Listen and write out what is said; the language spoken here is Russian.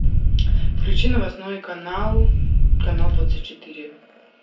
включи новостной канал канал двадцать четыре